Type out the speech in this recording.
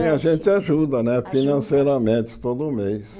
É a gente ajuda né financeiramente todo mês.